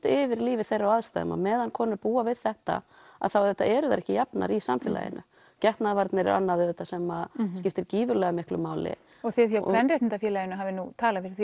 yfir lífi þeirra og aðstæðum á meðan konur búa við þetta þá eru þær ekki jafnar í samfélaginu getnaðarvarnir eru annað sem skiptir gífurlega miklu máli þið hjá kvenréttindafélaginu hafið talað fyrir